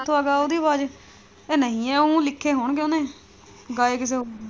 ਕਿੱਥੋਂ ਆ ਗਿਆ ਉਹਦੀ ਆਵਾਜ਼ ਚ ਨਹੀਂ ਹੈ ਉਹ ਲਿਖੇ ਹੋਣਗੇ ਉਨੇ ਗਏ ਕਿਸੇ ਹੋਰ ਨੇ।